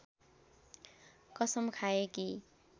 कसम खाए कि